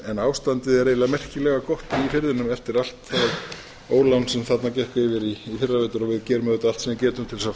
en ástandið er eiginlega merkilega gott í firðinum eftir allt það ólán sem þarna gekk yfir í fyrravetur og við gerum